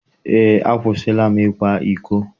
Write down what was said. Eé. akwụsịla m ịkwa iko.